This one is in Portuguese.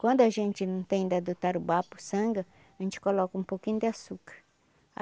Quando a gente não tem da do tarubá puçanga sangue, a gente coloca um pouquinho de açúcar.